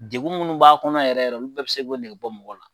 Degun minnu b'a kɔnɔ yɛrɛ yɛrɛ olu bɛɛ bɛ se k'o nɛgɛ bɔ mɔgɔ la